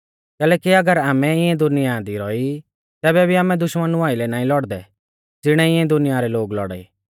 कैलैकि अगर आमै इऐं दुनिया दी रौई तैबै भी आमै दुश्मनु आइलै नाईं लौड़दै ज़िणै इऐं दुनिया रै लोग लौड़ाई